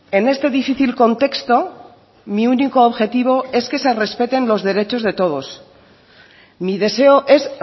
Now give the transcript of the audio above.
en este difícil contexto mi único objetivo es que se respeten los derechos de todos mi deseo es